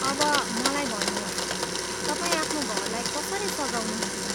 अब, मलाई भन्नुहोस् ,तपाईँ आफ्नो घरलाई कसरी सजाउनुहुन्छ?